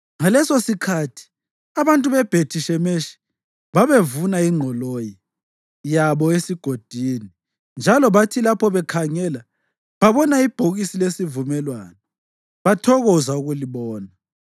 Ngalesosikhathi abantu beBhethi-Shemeshi babevuna ingqoloyi yabo esigodini, njalo bathi lapho bekhangela babona ibhokisi lesivumelwano, bathokoza ukulibona.